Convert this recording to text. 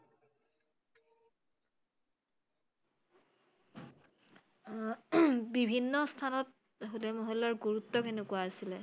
আহ বিভিন্ন স্হানত হোলা মহল্লাৰ গুৰুত্ব কেনেকুৱা আছিলে৷?